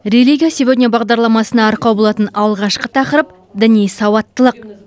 религия сегодня бағдарламасына арқау болатын алғашқы тақырып діни сауаттылық